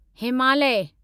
Himalaya